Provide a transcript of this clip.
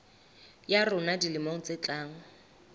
ya rona dilemong tse tlang